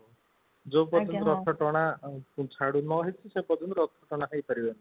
ଯୋଉ ପର୍ଯ୍ୟନ୍ତ ରଥ ଟଣା ଝାଡୁ ନ ହେଇଛି ସେ ପର୍ଯ୍ୟନ୍ତ ରଥ ଟଣା ହେଇ ପାରିବନି